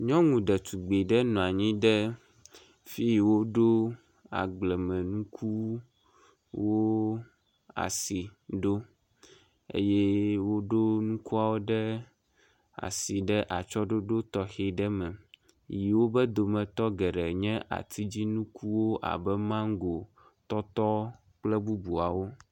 Nyɔnu ɖetugbe ɖe nɔ anyi ɖe fi yi woɖo agblemenuku wo asi ɖo, eye woɖo nukuawo ɖe asi atsyɔɖoɖo tɔxɛ aɖe me. Yi wobe dometɔ geɖe nye atidzi nukuwo abe mango, tɔtɔ kple bubuawo.